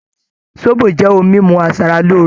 Zobo jẹ́ ohun mímu asara lóore